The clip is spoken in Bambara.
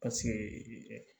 Paseke